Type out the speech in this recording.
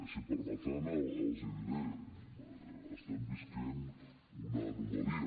si em permeten els ho diré estem vivint una anomalia